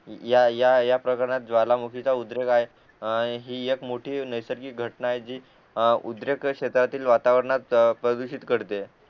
या या प्रकरणात ज्वालामुखीचा उद्रेक आहे हि एक मोठी नैसर्गिक घटना आहे जि उद्रेक शेतातील वातावरणात प्रदूषित करते